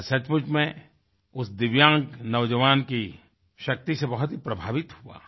मैं सचमुच में उस दिव्यांग नौजवान की शक्ति से बहुत ही प्रभावित हुआ